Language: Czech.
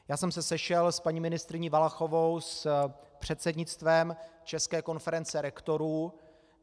Já jsem se sešel s paní ministryní Valachovou, s předsednictvem České konference rektorů.